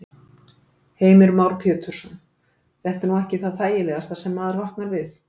Heimir Már Pétursson: Þetta er nú ekki það þægilegasta sem maður vaknar við?